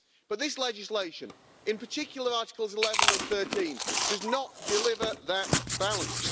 But this legislation, in particular Articles 11 and 13, does not deliver that balance.